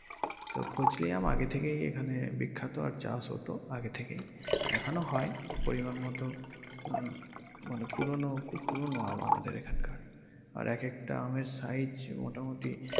তো ফজলি আম আগে থেকেই এখানে বিখ্যাত আর চাষ হতো আগে থেকেই এখনো হয় পরিমান মতো উহ মানে পুরনো খুব পুরনো আমাদের এখানকার আর এক একটা আমের size মোটামুটি।